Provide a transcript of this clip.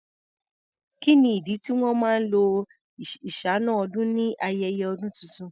Kí ni ìdí tí wọn máa lo iṣáná-ọdún ni ayẹyẹ ọdún tuntun?